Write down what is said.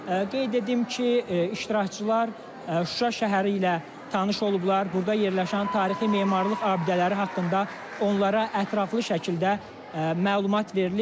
Qeyd edim ki, iştirakçılar Şuşa şəhəri ilə tanış olublar, burda yerləşən tarixi memarlıq abidələri haqqında onlara ətraflı şəkildə məlumat verilib.